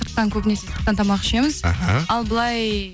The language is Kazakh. сырттан көбінесе сырттан тамақ ішеміз ал былай